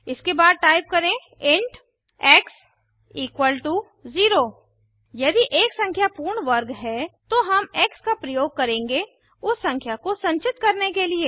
इसके बाद टाइप करें इंट एक्स 0 यदि एक संख्या पूर्ण वर्ग है तो हम एक्स का प्रयोग करेंगे उस संख्या को संचित करने के लिए